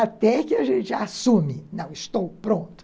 Até que a gente assume, não, estou pronto.